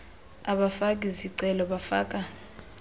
abafaki zicelo bafaka